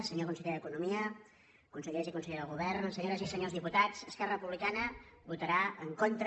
senyor conseller d’economia consellers i consellera del govern senyo res i senyors diputats esquerra republicana votarà en contra